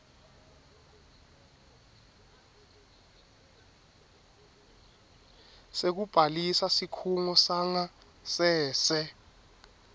sekubhalisa sikhungo sangasese